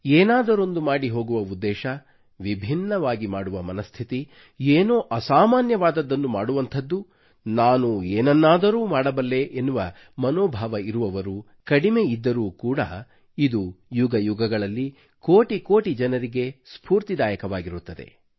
ಏನಾದರೊಂದು ಮಾಡಿ ಹೋಗುವ ಉದ್ದೇಶ ವಿಭಿನ್ನವಾಗಿ ಮಾಡುವ ಮನಸ್ಥಿತಿ ಏನೋ ಅಸಾಮಾನ್ಯವಾದದ್ದನ್ನು ಮಾಡುವಂಥದ್ದು ನಾನೂ ಏನನ್ನಾದರೂ ಮಾಡಬಲ್ಲೆ ಎನ್ನುವ ಮನೋಭಾವ ಇರುವವರು ಕಡಿಮೆ ಇದ್ದರೂ ಕೂಡ ಇದು ಯುಗ ಯುಗಗಳಲ್ಲಿ ಕೋಟಿ ಕೋಟಿ ಜನರಿಗೆ ಸ್ಫೂರ್ತಿದಾಯಕವಾಗಿರುತ್ತದೆ